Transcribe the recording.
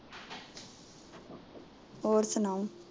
ਹੋਰ ਸੁਣਾਓ